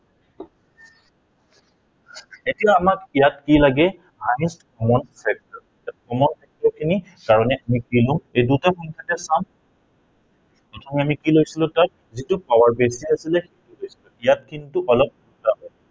এতিয়া আমাক ইয়াত কি লাগে highest coom factor, summon factor তাৰমানে এই দুইটা সংখ্য়াতে পাম প্ৰথমে আমি কি লৈছিলো তাত ইয়াত কিন্তু অলপ